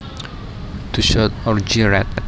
To shout or jeer at